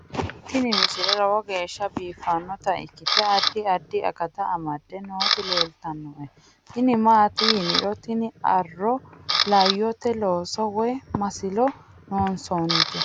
tini misile lowo geeshsha biiffannota ikkite addi addi akata amadde nooti leeltannoe tini maati yiniro tini arro laayote looso woy masilo loonsoonnite